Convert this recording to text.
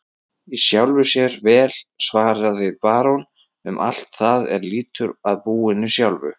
Í sjálfu sér vel, svaraði barón, um allt það er lýtur að búinu sjálfu.